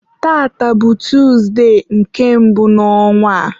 tata bụ Tuzde nke mbụ n'ọnwa.